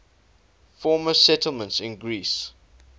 former settlements in greece